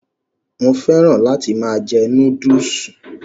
Mo féràn láti máa jẹ Núdúùsù